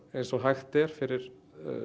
eins og hægt er fyrir